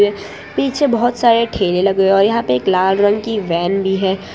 पीछे बहुत सारे ठेले लगे हुए हैं और यहां पे एक लाल रंग की वैन भी है।